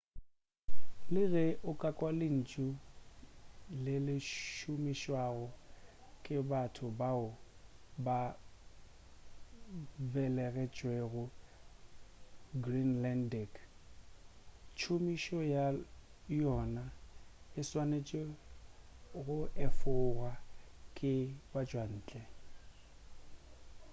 le ge o ka kwa lentšu le le šomišwago ke batho bao ba belegetšwego greenlandic tšhomišo ya yona e swanetše go efogwa ke batšwantle